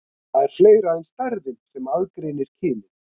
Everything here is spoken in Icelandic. Það er fleira en stærðin sem aðgreinir kynin.